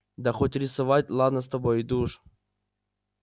да хоть рисовать ладно с тобой иду уж